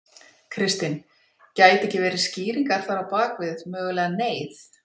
Kristinn: Gæti ekki verið skýringar þar á bakvið mögulega neyð?